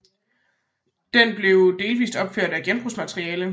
Det blev delvist opført af genbrugsmateriale